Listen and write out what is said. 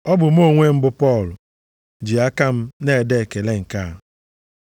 Ọ bụ mụ onwe m bụ Pọl ji aka m na-ede ekele nke a.